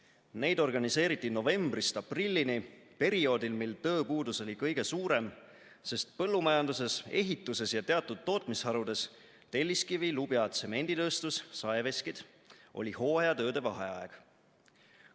Neid organiseeriti novembrist aprillini – perioodil, mil tööpuudus oli kõige suurem, sest põllumajanduses, ehituses ja teatud tootmisharudes oli hooajatööde vaheaeg.